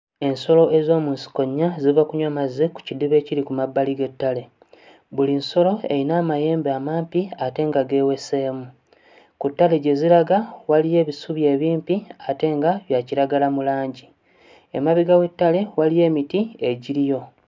Ensolo ez'omu nsiko nnya ziva kunywa mazzi ku kiddiba ekiri ku mabbali g'ettale, buli nsolo eyina amayembe amampi ate nga geeweseemu, ku ttale gye ziraga waliyo ebisubi ebimpi ate nga bya kiragala mu langi, emabega w'ettale waliyo emiti egiriyo.